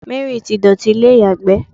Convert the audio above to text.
Mary ti dotì ilé iyagbe